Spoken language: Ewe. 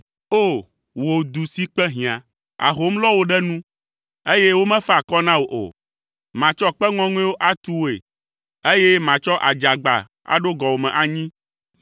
“O! Wò du si kpe hiã, ahom lɔ wò ɖe nu, eye womefa akɔ na wò o. Matsɔ kpe ŋɔŋɔewo atu wòe, eye matsɔ adzagba aɖo gɔwòme anyi.